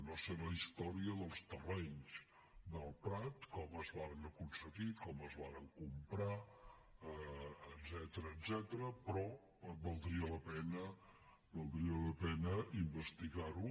no sé la història dels terrenys del prat com es varen aconseguir com es varen comprar etcètera però valdria la pena investigar ho